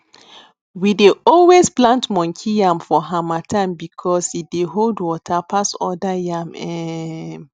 we dey always plant monkey yam for harmattan because e dey hold water pass other yam um